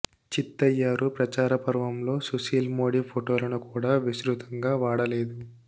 చిత్తయ్యారు ప్రచార పర్వంలో సుశీల్ మోడీ ఫొటోలను కూడా విస్తృతంగా వాడలేదు